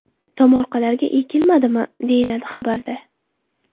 Tomorqalarga ekilmadimi?”, deyiladi xabarda.